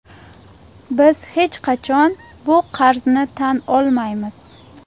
Biz hech qachon bu qarzni tan olmaymiz.